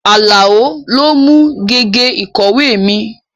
Àlàó lo mú gègé ìkọ̀wé mi